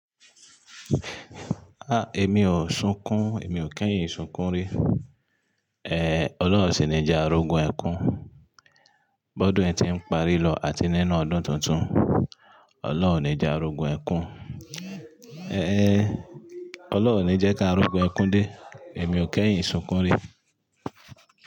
Ah! Èmi ò sunkún, èmi ò kẹ́yìn sunkún rí. Ehn, Ọlọ́run onsì ní jẹ a ri ogun ẹkún. Bọ́dún yi ti ń parí lọ àti nínú ọdún tuntun, Ọlọ́run ní jẹ a ri ogun ẹkún. Ehn, Ọlọ́run o ní jẹ́ ká a ri ogun ẹkún dé, èmi ò kẹ́yìn sunkún rí.